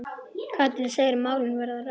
Katrín segir málin verða rædd.